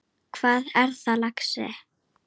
Hvað er það, lagsi?